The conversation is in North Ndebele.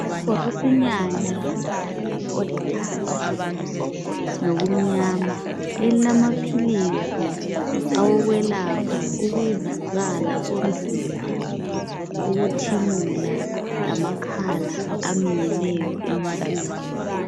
Ibhokisinyana lombala olithanga lokumnyama elilamaphilisi awokwelapha ukuvuvukala komzimba ukuthimula lamakhala aminyeneyo emuntwini.